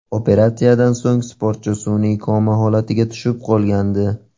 Operatsiyadan so‘ng sportchi sun’iy koma holatiga tushib qolgandi.